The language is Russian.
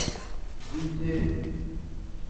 джим керри